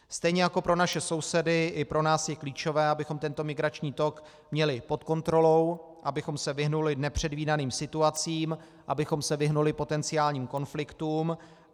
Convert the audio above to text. Stejně jako pro naše sousedy, i pro nás je klíčové, abychom tento migrační tok měli pod kontrolou, abychom se vyhnuli nepředvídaným situacím, abychom se vyhnuli potenciálním konfliktům.